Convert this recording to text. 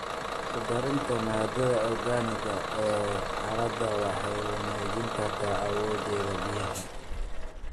Ku darida maadada organic-ga ah ee carrada waxay wanaajin kartaa awoodeeda biyaha.